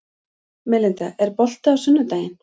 Melinda, er bolti á sunnudaginn?